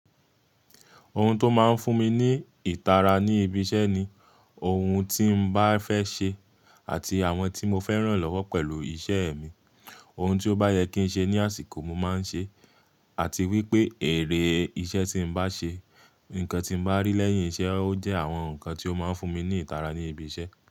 Ohun tó máa ń fún mi ní ìtara ní ibi iṣẹ́ ni ohun tí n bá fẹ́ ṣe àti àwọn tí mo fẹ́ ràn lọ́wọ́ pẹ̀lú iṣẹ́ mi. Ohun tí ó bá yẹ kí n ṣe ní àsìkò mo máa ń ṣe, àti wípé èrè iṣẹ́ tí n bá ṣe, nǹkan tí n bá rí lẹ́yìn iṣẹ́, ó jẹ́ àwọn nǹkan tí ó máa ń fún mi ní ìtara ní ibi iṣẹ́.